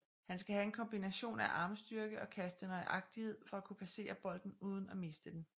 Han skal have en kombination af armstyrke og kaste nøjagtighed for at kunne passere bolden uden at miste den